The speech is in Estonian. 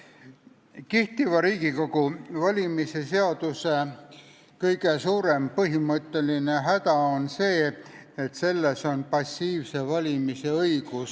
Kehtiva Riigikogu valimise seaduse kõige suurem põhimõtteline häda on see, et selles on passiivse valimise õigus.